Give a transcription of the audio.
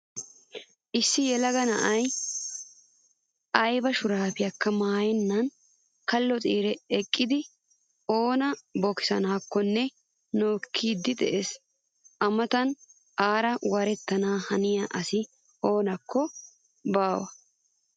Issi yelaga na'ayi ayiba shuraabekka maayennan kallo xiire eqqidi oona bokisanaakkonne nookkiiddi des. A matan aara warettana haniya asi oonnekka baa.